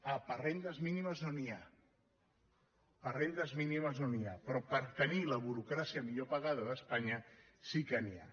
ah per rendes mínimes no n’hi ha per rendes mínimes no n’hi ha però per tenir la burocràcia millor pagada d’espanya sí que n’hi ha